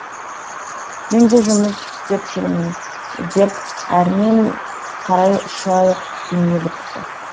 мен де жұмыс істеп жүрмін деп әрмен қарай ұша жөнеліпті